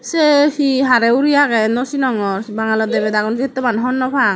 seh he hareh uri ageh nosinongor bangaloh debeda gun settoman honno pang.